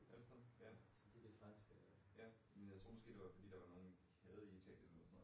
Ørsted? Ja. Ja, men jeg tror måske det var fordi at der var nogen de havde i Italien eller sådan noget